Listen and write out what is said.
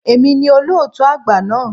È mi ni olóòtú àgbà náà.